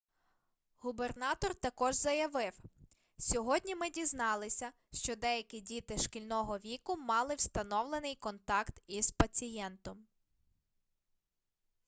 губернатор також заявив сьогодні ми дізналися що деякі діти шкільного віку мали встановлений контакт із пацієнтом